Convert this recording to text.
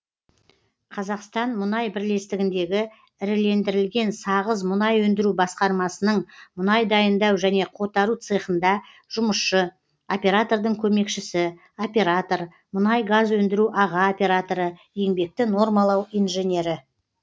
қазақстанмұнай бірлестігіндегі ірілендірілген сағыз мұнай өндіру басқармасының мұнай дайындау және қотару цехында жұмысшы оператордың көмекшісі оператор мұнай газ өндіру аға операторы еңбекті нормалау инженері